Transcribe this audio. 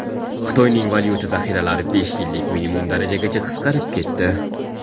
Xitoyning valyuta zaxiralari besh yillik minimum darajagacha qisqarib ketdi.